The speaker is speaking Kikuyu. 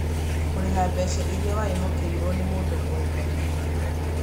Kũrĩha mbeca iria waihokeirũo nĩ mũndũ ũrĩ na thirĩ